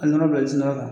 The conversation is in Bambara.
A nɔnɔ bɛ sin ka kan